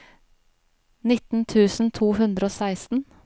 nitten tusen to hundre og seksten